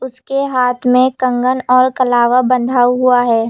उसके हाथ में कंगन और कलावा बंधा हुआ है।